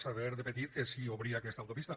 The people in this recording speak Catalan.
saber de petit que si obria aquesta autopista